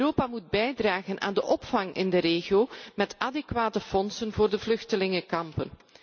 Europa moet bijdragen aan de opvang in de regio met adequate middelen voor de vluchtelingenkampen.